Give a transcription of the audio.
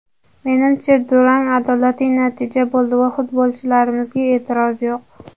Menimcha, durang adolatli natija bo‘ldi va futbolchilarimizga e’tiroz yo‘q.